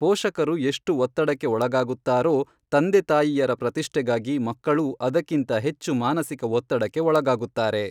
ಪೋಷಕರು ಎಷ್ಟು ಒತ್ತಡಕ್ಕೆ ಒಳಗಾಗುತ್ತಾರೋ ತಂದೆತಾಯಿಯರ ಪ್ರತಿಷ್ಟೆಗಾಗಿ ಮಕ್ಕಳೂ ಅದಕ್ಕಿಂತ ಹೆಚ್ಚು ಮಾನಸಿಕ ಒತ್ತಡಕ್ಕೆ ಒಳಗಾಗುತ್ತಾರೆ.